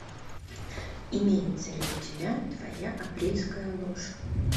имеется ли у тебя твоя апрельская ложь